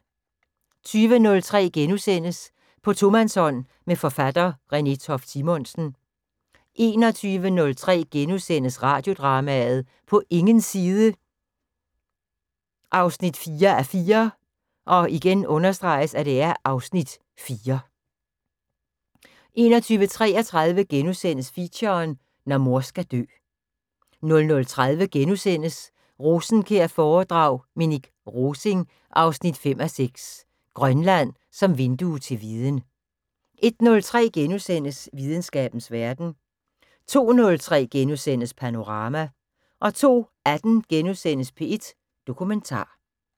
20:03: På tomandshånd med forfatter Renée Toft Simonsen * 21:03: Radiodrama: På ingens side 4:4 (Afs. 4)* 21:33: Feature: Når mor skal dø * 00:30: Rosenkjær-foredrag: Minik Rosing 5:6 - Grønland som vindue til viden * 01:03: Videnskabens Verden * 02:03: Panorama * 02:18: P1 Dokumentar *